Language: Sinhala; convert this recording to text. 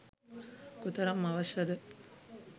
කොතරම් අවශ්‍ය ද